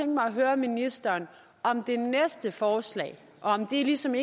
mig at høre ministeren om det næste forslag og om det ikke ligesom